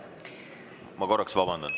Ma korraks vabandan.